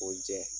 O jɛ